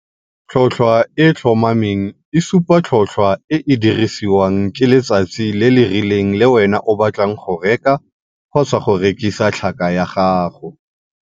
Tlhotlhwa e e tlhomameng e supa tlhotlhwa e e dirisiwang ke letsatsi le le rileng le wena o batlang go reka, kgotsa go rekisa, tlhaka ya gago.